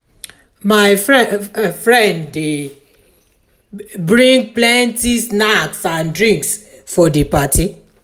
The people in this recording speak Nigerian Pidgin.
my friend dey bring plenty snacks and drinks for di party.